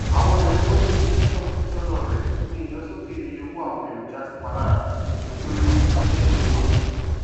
àwọn èrèowó ti iléiṣẹ náà fojúsọnà rẹ ní ìlọsókè iye owó àwọn èròjà tí pá lára nítorí ìfòsókè owóọjà